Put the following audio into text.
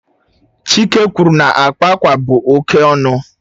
Chike kwuru na akpa akwa bụ oke ọnụ.